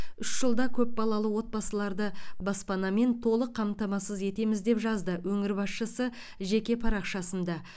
үш жылда көпбалалы отбасыларды баспанамен толық қамтамасыз етеміз деп жазды өңір басшысы жеке парақшасында